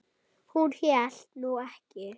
Hún hélt nú ekki.